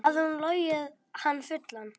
Hafði hún logið hann fullan?